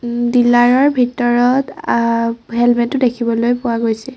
Dealer ৰ ভিতৰত আ হেলমেট ও দেখিবলৈ পোৱা গৈছে।